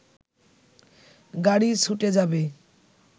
গাড়ি ছুটে যাবে